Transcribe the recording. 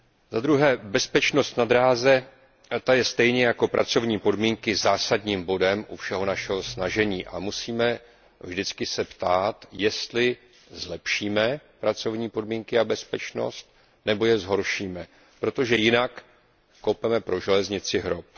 Za druhé bezpečnost na dráze je stejně jako pracovní podmínky zásadním bodem veškerého našeho snažení a musíme se vždycky ptát, jestli zlepšíme pracovní podmínky a bezpečnost nebo je zhoršíme, protože jinak kopeme pro železnici hrob.